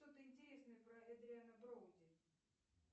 что то интересное про эдриана броуди